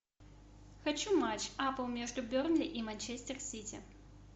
хочу матч апл между бернли и манчестер сити